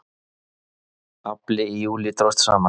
Afli í júlí dróst saman